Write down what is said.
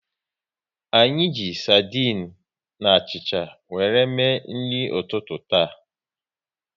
Anyị ji sardinu na achịcha wéré mee nri ụtụtụ taa